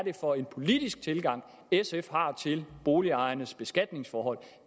for en politisk tilgang sf har til boligejernes beskatningsforhold